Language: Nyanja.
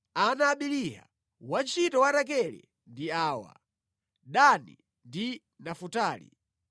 Ana a Biliha, wantchito wa Rakele ndi awa: Dani ndi Nafutali.